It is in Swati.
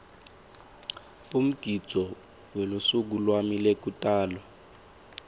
umgidvo welusuku lwami lwekutalwa